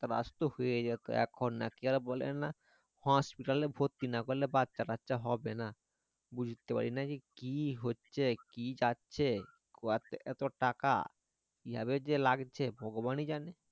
আসতো হয়ে যেত এখন আর কি বলে না hospital এ ভর্তি না করলে বাছা কাচ্ছা হবে না বুজতে পারিনা যে কি হচ্ছে কি যাচ্ছে গর্তে এত টাকা কিভাবে যে লাগছে যে ভগবানই জানে